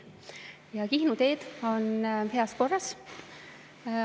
Ja Kihnu teed on heas korras.